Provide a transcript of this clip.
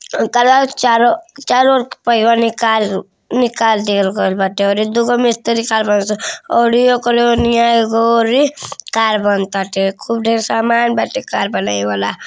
Colour चारो चारो और पहिया निकाल निकाल दिए गईल बा। दुगो मिस्त्री खड़ा बा और ओकारे ओनिया एगो औरी कार बनाताटे। खूब ढेर सामान बाटे कार बनाये वाला।